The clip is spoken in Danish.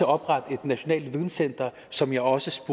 oprette et nationalt videncenter som jeg også